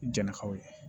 Jɛnnakaw ye